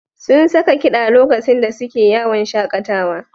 Sun saka kiɗa lokacin da suke yawon shaƙatawa.